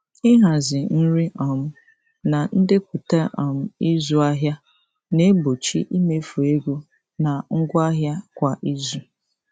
Ịhazi nri um na ndepụta um ịzụ ahịa na-egbochi imefu ego na ngwa ahịa kwa izu.